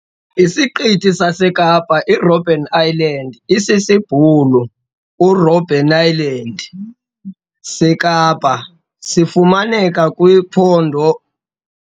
Isiqithi sasekapa "Robben Island", isisiBhulu- "uRobbeneiland", sekapa sifumaneka kwiphondo